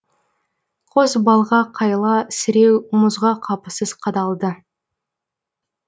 қос балға қайла сіреу мұзға қапысыз қадалды